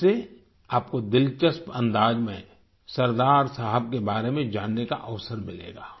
इससे आपको दिलचस्प अंदाज में सरदार साहब के बारे में जानने का अवसर मिलेगा